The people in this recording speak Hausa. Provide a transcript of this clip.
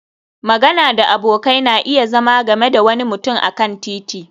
magana da abokai na iya zama game da wani mutum a kan titi